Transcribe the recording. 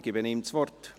Ich gebe ihm das Wort.